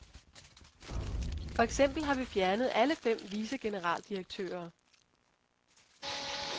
For eksempel har vi fjernet alle fem vicegeneraldirektører.